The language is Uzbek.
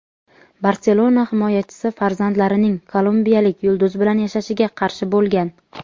"Barselona" himoyachisi farzandlarining kolumbiyalik yulduz bilan yashashiga qarshi bo‘lgan.